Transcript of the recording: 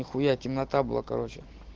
нихуя темнота была короче